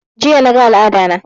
Jiya na ga al'ada na